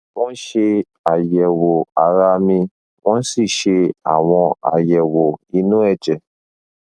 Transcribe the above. wọn ṣe àyẹwò ara mi wọn sì ṣe àwọn àyẹwò inú ẹjẹ